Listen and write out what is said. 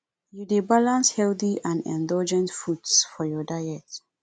you dey balance healthy and indulgent foods for your diet